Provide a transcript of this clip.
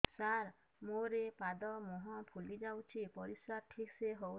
ସାର ମୋରୋ ପାଦ ମୁହଁ ଫୁଲିଯାଉଛି ପରିଶ୍ରା ଠିକ ସେ ହଉନି